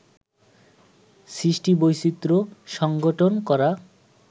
সৃষ্টিবৈচিত্র্য, সঙ্ঘটন করা